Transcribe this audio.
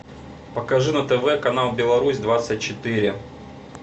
покажи на тв канал беларусь двадцать четыре